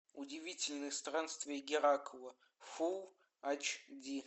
удивительные странствия геракла фул ач ди